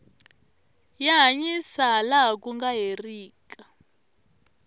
ya hanyisa ha laha ku nga herika